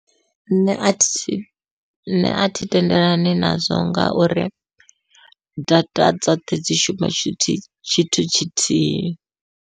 Nṋe athi nṋe athi tendelani nazwo ngauri data dzoṱhe dzi shuma tshithu tshithu tshithihi.